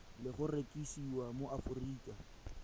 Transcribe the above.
le go rekisiwa mo aforika